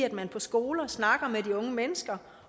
at man på skolerne snakker med de unge mennesker